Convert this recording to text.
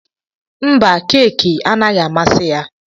Mba, keki anaghị amasị ya.